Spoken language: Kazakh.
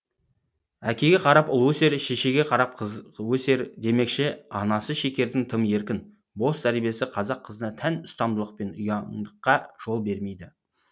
әкеге қарап ұл өсер шешеге қарап қыз өсер демекші анасы шекердің тым еркін бос тәрбиесі қазақ қызына тән ұстамдылық пен ұяңдыққа жол бермейді